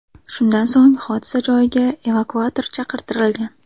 Shundan so‘ng hodisa joyiga evakuator chaqirtirilgan.